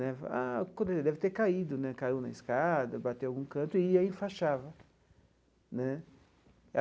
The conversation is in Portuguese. Né a quando ele deve ter caído né, caiu na escada, bateu em algum canto e aí enfaixava né.